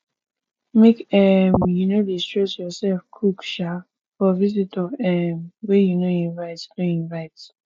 make um you no dey stress yoursef cook um for visitor um wey you no invite no invite